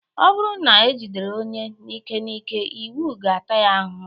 Ọ bụrụ na ejidere onye n'ike n'ike, iwu ga-ata ya ahụhụ